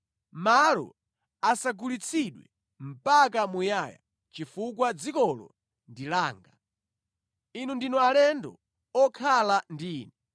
“ ‘Malo asagulitsidwe mpaka muyaya chifukwa dzikolo ndi langa. Inu ndinu alendo okhala ndi Ine.